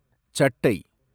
சட்டை